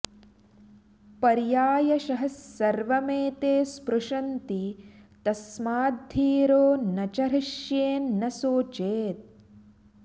पर्यायशः सर्वमेते स्पृशन्ति तस्माद्धीरो न च हृष्येन्न सोचेत्